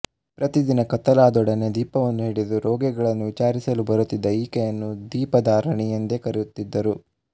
ಪ್ರತಿದಿನ ಕತ್ತಲಾದೊಡನೆ ದೀಪವನ್ನು ಹಿಡಿದು ರೋಗಿಗಳನ್ನು ವಿಚಾರಿಸಲು ಬರುತ್ತಿದ್ದ ಈಕೆಯನ್ನು ದೀಪಧಾರಿಣಿ ಎಂದೇ ಕರೆಯುತ್ತಿದ್ದರು